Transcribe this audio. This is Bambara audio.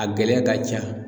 A gɛlɛya ka ca.